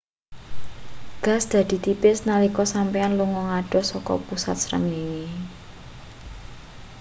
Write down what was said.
gas dadi tipis nalika sampeyan lunga ngadoh saka pusat srengenge